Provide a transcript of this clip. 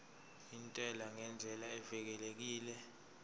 intela ngendlela evikelekile